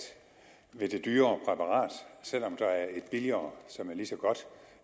ved det dyrere præparat selv om der er et billigere som er lige så godt